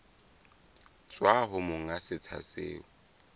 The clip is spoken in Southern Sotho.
tswa ho monga setsha seo